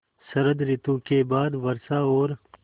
शरत ॠतु के बाद वर्षा और